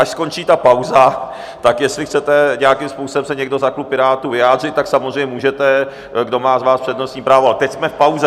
Až skončí ta pauza, tak jestli chcete nějakým způsobem se někdo za klub Pirátů vyjádřit, tak samozřejmě můžete, kdo z vás má přednostní právo, ale teď jsme v pauze.